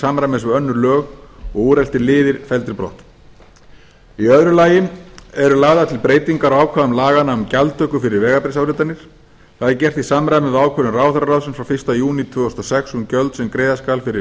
samræmis við önnur lög og úreltir liðir felldir brott í öðru lagi eru lagðar til breytingar á ákvæðum laganna um gjaldtöku fyrir vegabréfsáritanir það er gert í samræmi við ákvörðun ráðherraráðsins frá fyrsta júní tvö þúsund og sex um gjöld sem greiða skal fyrir